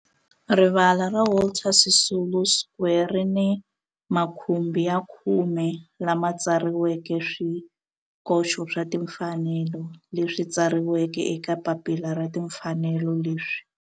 Rivala ra Walter Sisulu Square ri ni makhumbi ya khume lawa ma tsariweke swikoxo swa timfanelo leswi tsariweke eka papila ra timfanelo leswi.